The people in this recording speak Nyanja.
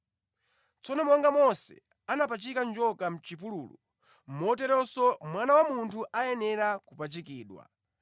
Tsono monga Mose anapachika njoka mʼchipululu, moteronso Mwana wa Munthu ayenera kupachikidwa,